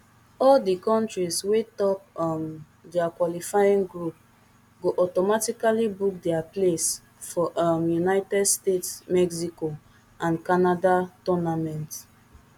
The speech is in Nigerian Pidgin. all di kontris wey top um dia qualifying group go automatically book dia place for um united states mexico and canada tournament